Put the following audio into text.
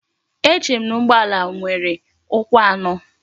Echerem na ugbo ala nwere ukwu ano?